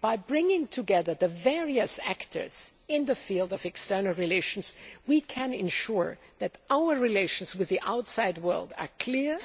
By bringing together the various actors in the field of external relations, we can ensure that our relations with the outside world are clear,